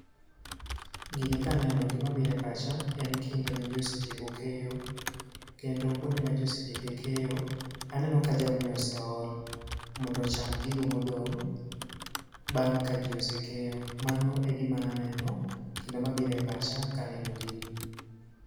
Gini kaneno gima biro e pacha en kinde ma ji osetieko keyo. Kendo kuonde ma ji osetiko keyo. Aneno ka jamni oseol mondo ocham gigo modong' bang' ka ji osekeyo. Mano e gima aneno kendo mabiro e pacha ka aneno gini.